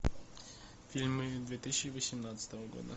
фильмы две тысячи восемнадцатого года